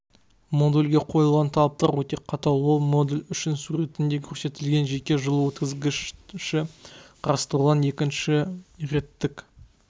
модульге қойылған талаптар өте қатал ол модуль үшін суретінде көрсетілген жеке жылу өткізгіші қарастырылған екінші реттік